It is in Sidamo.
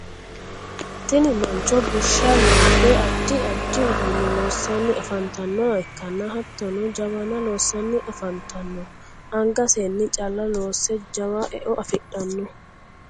tini mancho bushsha loobbe addi addi uduunne loosanni afantannoha ikkanna hattonni jawana loosanni afantanno. angasenni calla loosse jawa eo afidhanno.